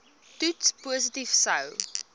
toets positief sou